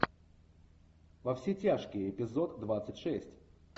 во все тяжкие эпизод двадцать шесть